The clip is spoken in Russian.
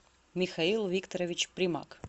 михаил викторович примак